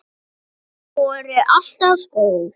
Þau voru alltaf góð.